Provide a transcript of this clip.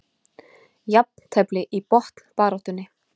Jafntefli í botnbaráttunni